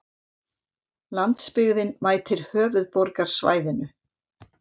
Landsbyggðin mætir höfuðborgarsvæðinu